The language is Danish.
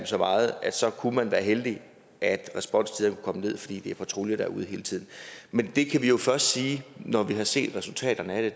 så meget kunne man være heldig at responstiden kunne komme ned fordi det er patruljer der er ude hele tiden men det kan vi jo først sige når vi har set resultaterne af